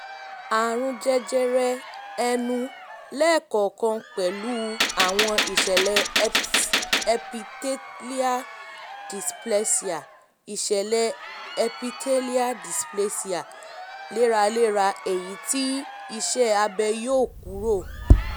um àrùn jẹjẹrẹ ẹnu lẹ́ẹ̀kọ̀ọ̀kan pẹ̀lú àwọn ìṣẹ̀lẹ̀ epithelial dysplasia ìṣẹ̀lẹ̀ epithelial dysplasia léraléra èyí um tí iṣẹ́ um abẹ yọ kúrò